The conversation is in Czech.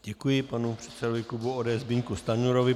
Děkuji panu předsedovi klubu ODS Zbyňku Stanjurovi.